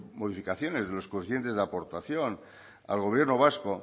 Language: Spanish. modificaciones de los coeficientes de aportación al gobierno vasco